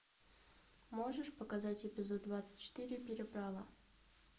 можешь показать эпизод двадцать четыре переправа